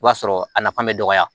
I b'a sɔrɔ a nafa bɛ dɔgɔya